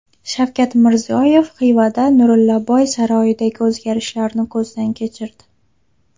Shavkat Mirziyoyev Xivada Nurillaboy saroyidagi o‘zgarishlarni ko‘zdan kechirdi.